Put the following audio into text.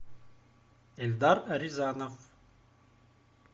эльдар рязанов